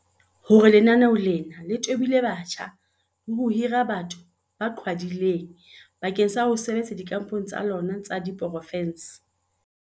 o hlalositse hore lenaneo lena le tobile batjha le ho hira batho ba qhwadileng bakeng sa ho sebetsa dikampong tsa lona tsa diporofense.